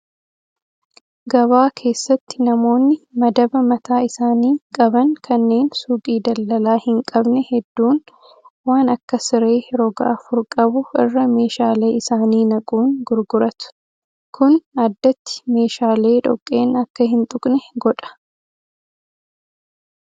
Gabaa keessatti namoonni madaba mataa isaanii qaban kanneen suuqii daldalaa hin qabne hedduun waan akka siree roga afur qabu irra meeshaalee isaanii naquun gurguratu. Kun addatti meeshaalee dhoqqeen akka hin tuqne godha.